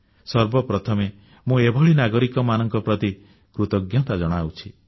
ସର୍ବପ୍ରଥମେ ମୁଁ ଏଭଳି ନାଗରିକମାନଙ୍କ ପ୍ରତି କୃତଜ୍ଞତା ଜଣାଉଛି